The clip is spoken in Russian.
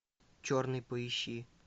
черный поищи